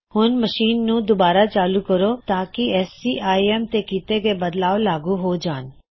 ਹੁਣ ਅਪਣੀ ਮਸ਼ੀਨ ਨੂੰ ਦੁਬਾਰਾ ਚਾਲੂ ਕਰੋ ਤਾਂਕੀ ਸੀਆਈਐੱਮ ਤੇ ਕਿੱਤੇ ਗਏ ਬਦਲਾਵ ਲਾਗੂ ਹੋ ਜਾਣ